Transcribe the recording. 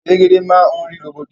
Elégédé máa ni ri roboto.